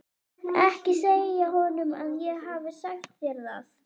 Ekki segja honum að ég hafi sagt þér það.